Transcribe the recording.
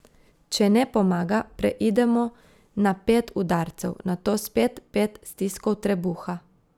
Če ne pomaga, preidemo na pet udarcev, nato spet pet stiskov trebuha ...